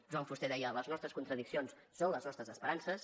joan fuster deia les nostres contradiccions són les nostres esperances